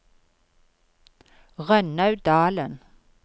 Rønnaug Dahlen